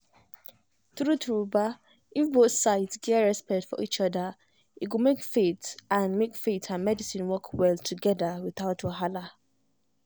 true-true ba if both sides get respect for each other e go make faith and make faith and medicine work well together without wahala.